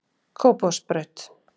Kópavogsbraut